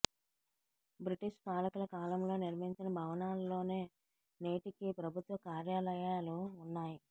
British పాలకుల కాలంలో నిర్మించిన భవనాల్లోనే నేటికీ ప్రభుత్వ కార్యాలయాలు ఉన్నాయి